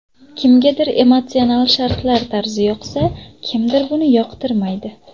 Kimgadir emotsional sharhlash tarzi yoqsa, kimdir buni yoqtirmaydi.